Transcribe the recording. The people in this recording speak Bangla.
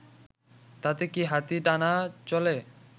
তাতে কি হাতি টানা চলে